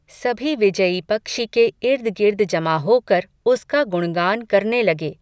सभी विजयी पक्षी के इर्द गिर्द जमा होकर उसका गुणगान करने लगे.